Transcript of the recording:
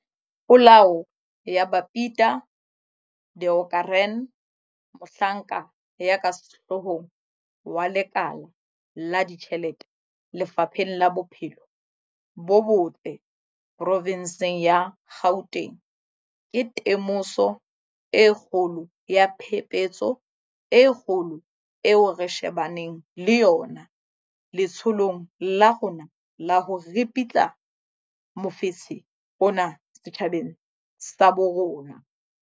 Polao ya Babita Deokaran, mohlanka ya ka sehloohong wa lekala la ditjhelete Lefapheng la Bophelo bo Botle provenseng ya Gauteng, ke temoso e kgolo ya phephetso e kgolo eo re shebaneng le yona letsholong la rona la ho ripitla mofetshe ona setjhabeng sa bo rona.